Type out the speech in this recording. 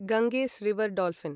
Ganges river dolphin